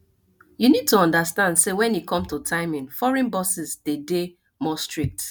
we need to understand sey when e come to timing foreign bosses de dey more strict